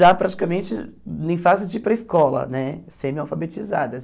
já praticamente em fase de ir para a escola né, semi-alfabetizadas.